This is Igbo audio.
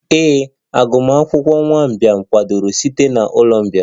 Ee, agụmakwụkwọ nwa mgbei kwadoro site na ụlọ mgbei